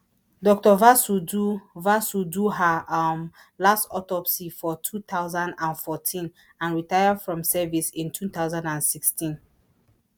Dokto Vasu do vasu do her um last autopsy for two thousand and fourteen and retire from service in two thousand and sixteen